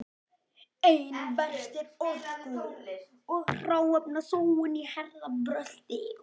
Einna verst er orku- og hráefnasóun í hernaðarbrölti.